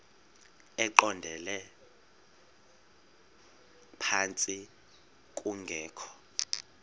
eqondele phantsi kungekho